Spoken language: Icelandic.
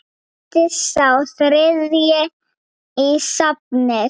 Bætist sá þriðji í safnið?